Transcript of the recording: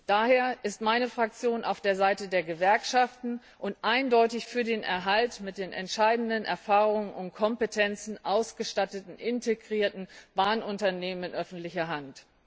Daher ist meine Fraktion auf der Seite der Gewerkschaften und eindeutig für den Erhalt der mit den entscheidenden Erfahrungen und Kompetenzen ausgestatteten, integrierten Bahnunternehmen in öffentlicher Hand.